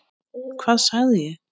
Hvað sagði ég?